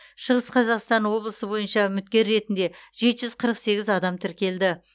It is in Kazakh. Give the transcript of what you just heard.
шығыс қазақстан облысы бойынша үміткер ретінде жеті жүз қырық сегіз адам тіркелді